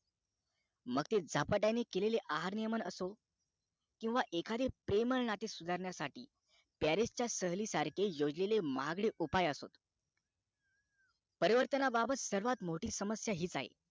मग ते झपाट्याने केलेले आहार नियमन असो किंवा एखादे प्रेमळ नाते सुधारण्यासाठी पॅरीस च्या सहलीसारखे योजलेले महागडे उपाय असो परिवर्ताबाबत मोठी समस्या हीच आहे